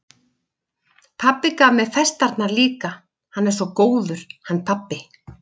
Pabbi gaf mér festarnar líka, hann er svo góður, hann pabbi.